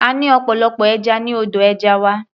A ní ọ̀pọ̀lọpọ̀ ẹja ní odò ẹja wa.